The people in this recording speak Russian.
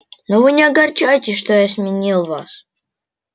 но вы не огорчайтесь что я сменил вас